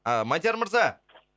а мадияр мырза